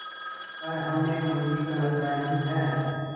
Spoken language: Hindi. पर हमने उनकी कल्पना ही है